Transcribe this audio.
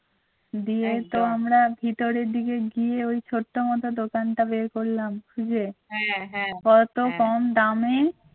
দিয়ে তো আমরা ভিতরের দিকে গিয়ে ওই ছোট্ট মত দোকানটা বের করলাম খুঁজে পরে তো কম দামে